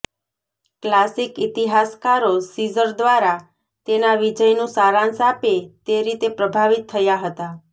classic ઇતિહાસકારો Caesar દ્વારા તેના વિજયનું સારાંશ આપે તે રીતે પ્રભાવિત થયા હતા